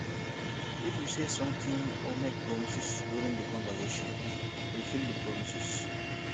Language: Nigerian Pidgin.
if you say something or make promises during di conversation fulfill di promises